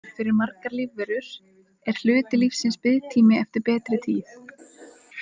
Fyrir margar lífverur er hluti lífsins biðtími eftir betri tíð.